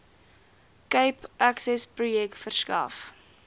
cape accessprojek verskaf